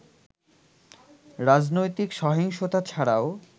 রাজনৈতিক সহিংসতা ছাড়াও